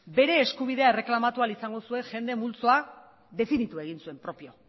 bere eskubidea erreklamatu ahal izango zuen jende multzoa definitu egin zuen propio